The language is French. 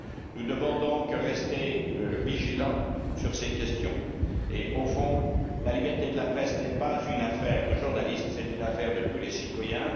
Nous devons rester vigilants sur ces questions et, au fond, la liberté de la presse n'est pas une affaire de journaliste, c'est une affaire de tous les citoyens.